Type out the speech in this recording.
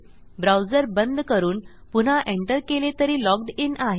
browser बंद करून पुन्हा एंटर केले तरी लॉग्ड इन आहे